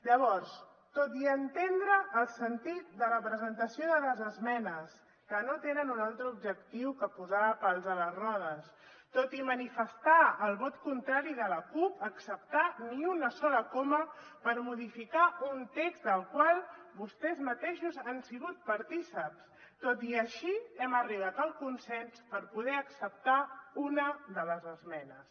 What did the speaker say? llavors tot i entendre el sentit de la presentació de les esmenes que no tenen un altre objectiu que posar pals a les rodes tot i manifestar el vot contrari de la cup a acceptar ni una sola coma per modificar un text del qual vostès mateixos han sigut partícips tot i així hem arribat a un consens per poder acceptar una de les esmenes